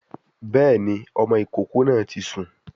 Béèni, ọmọ ìkókó náà ti sùn